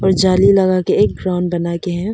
जाली लगाके एक ड्रोन बनाकर है।